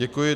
Děkuji.